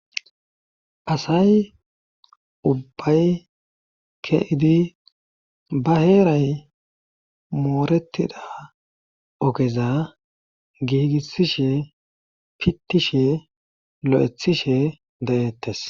Asay ubbay keidi ba heeray mooretida ogeza giigissishe pittishe lo'ethishe dayettes.